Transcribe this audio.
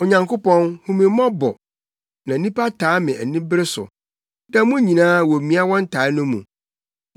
Onyankopɔn, hu me mmɔbɔ na nnipa taa me anibere so; da mu nyinaa womia wɔn taa no mu.